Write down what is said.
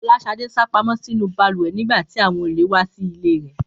Fọláṣadé sá pamọ́ sínú balùwẹ̀ nígbà tí àwọn olè wá sí ilé rẹ̀